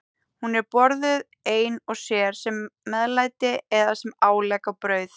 Hún er borðuð ein og sér, sem meðlæti eða sem álegg á brauð.